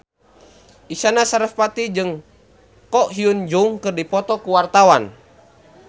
Isyana Sarasvati jeung Ko Hyun Jung keur dipoto ku wartawan